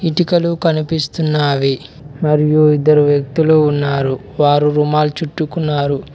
ఇటుకలు కనిపిస్తున్నావి మరియు ఇద్దరు వ్యక్తులు ఉన్నారు వారు రుమాల్ చుట్టుకున్నారు.